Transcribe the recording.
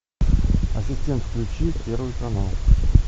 ассистент включи первый канал